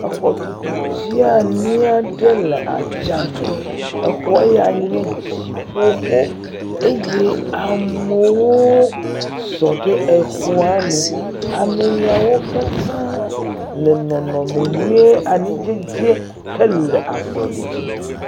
Exɔxɔtutu dzeani aɖe le atsa me. Exɔ ya nye dziƒoxɔ eye amewo sɔ ɖe exɔa nu. Ame ya wo ke tsa le nɔnɔme nyuie anidzedze hele azɔli dzi.